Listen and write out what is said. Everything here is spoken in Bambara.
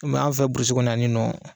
Komi an fɛ burusi kɔnɔ yan ni nɔn